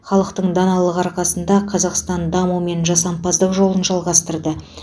халықтың даналығы арқасында қазақстан даму мен жасампаздық жолын жалғастырды